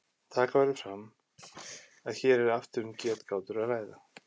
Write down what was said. Taka verður fram að hér er aftur um getgátur að ræða.